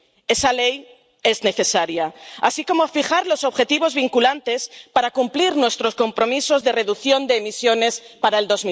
Esa ley es necesaria, así como fijar los objetivos vinculantes para cumplir nuestros compromisos de reducción de emisiones para el